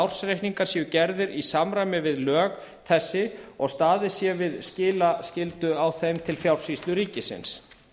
ársreikningar séu gerðir í samræmi við lög þessi og staðið sé við skilaskyldu á þeim til fjársýslu ríkisins